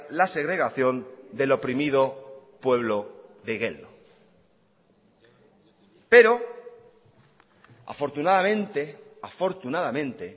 la segregación del oprimido pueblo de igeldo pero afortunadamente afortunadamente